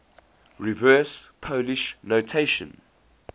reverse polish notation